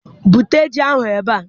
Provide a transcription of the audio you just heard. Bute ji ahụ ebe a!